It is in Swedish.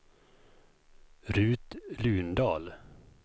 Rut Lundahl